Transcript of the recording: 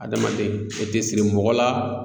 Adamaden e tɛ siri mɔgɔ la